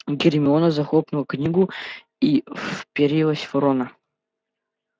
гермиона захлопнула книгу и вперилась в рона